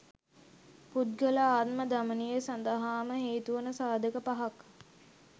පුද්ගල ආත්ම දමනය සඳහාම හේතුවන සාධක පහක්